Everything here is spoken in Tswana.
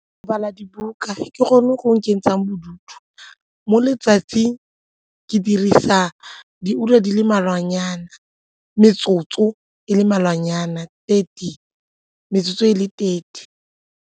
Go bala dibuka ke gone go nkentshang bodutu mo letsatsing ke dirisa diura di le mmalwanyana metsotso e le mmalwanyana, thirty metsotso e le thirty.